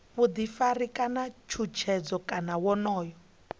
vhuḓifari kana tshutshedzo kana wonoyo